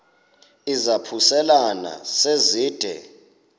izaphuselana se zide